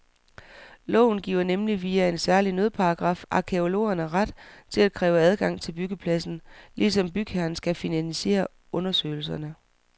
Loven giver nemlig via en særlig nødparagraf arkæologerne ret til at kræve adgang til byggepladsen, ligesom bygherren skal finansiere undersøgelserne.